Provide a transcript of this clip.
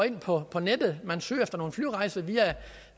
ind på hvordan kan det